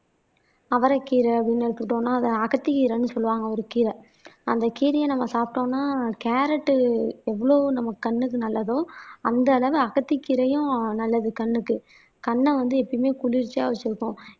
அவரைக்கீரை அப்படின்னு எடுத்துட்டோம்ன்னா அத அகத்திக்கீரைன்னு சொல்லுவாங்க ஒரு கீரை அந்த கீரையை நம்ம சாப்பிட்டோம்னா கேரட் எவ்வளவு நம்ம கண்ணுக்கு நல்லதோ அந்த அளவு அகத்திக்கீரையும் நல்லது கண்ணுக்கு கண்ணை வந்து எப்பயுமே குளிர்ச்சியா வச்சிருக்கும்.